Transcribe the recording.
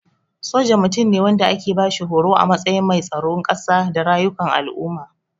Soja Mutum ne wanda ake bashi horo a matsayin mai tsaron kasa da rayukan al'umma.